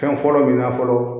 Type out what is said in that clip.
Fɛn fɔlɔ min na fɔlɔ